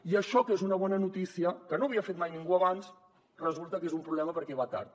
i això que és una bona notícia que no havia fet mai ningú abans resulta que és un problema perquè va tard